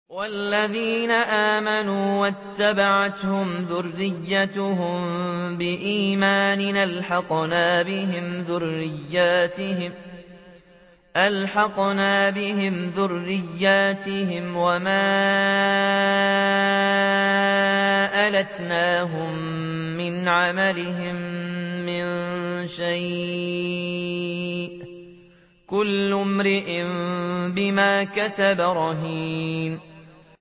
وَالَّذِينَ آمَنُوا وَاتَّبَعَتْهُمْ ذُرِّيَّتُهُم بِإِيمَانٍ أَلْحَقْنَا بِهِمْ ذُرِّيَّتَهُمْ وَمَا أَلَتْنَاهُم مِّنْ عَمَلِهِم مِّن شَيْءٍ ۚ كُلُّ امْرِئٍ بِمَا كَسَبَ رَهِينٌ